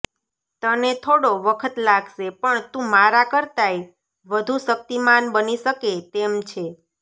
તને થોડો વખત લાગશે પણ તું મારા કરતાંય વધુ શક્તિમાન બની શકે તેમ છે